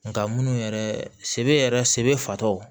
Nga munnu yɛrɛ sebe yɛrɛ sebe fatɔw